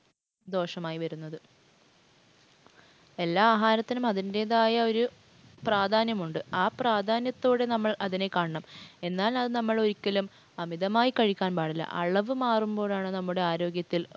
ദോഷമായി വരുന്നത്. എല്ലാ ആഹാരത്തിനും അതിന്‍റെതായൊരു പ്രാധാന്യം ഉണ്ട്. ആ പ്രാധാന്യത്തോടെ നമ്മള്‍ അതിനെ കാണണം. എന്നാൽ അത് നമ്മൾ അതൊരിക്കലും അമിതമായി കഴിക്കാൻ പാടില്ല. അളവ് മാറുമ്പോഴാണ് നമ്മുടെ ആരോഗ്യത്തിൽ